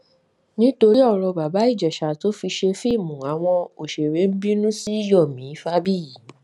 nítorí ọrọ bàbá ìjèṣà tó fi ṣe fíìmù àwọn òṣèré bínú sí yomi fábíyì